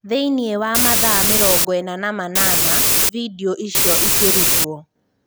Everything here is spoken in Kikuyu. Thĩini wa mathaa mĩrongoĩna na manana vindioicio ikĩrutwo."